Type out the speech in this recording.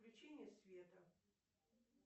включение света